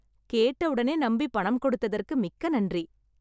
கேட்ட உடனே நம்பி பணம் கொடுத்ததற்கு மிக்க நன்றி